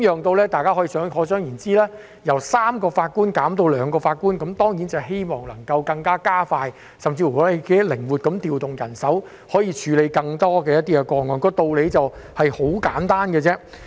大家可以想象，由3名法官減至兩名法官，當然希望能夠加快處理，甚至是更靈活地調動人手以處理更多個案，道理是十分簡單的。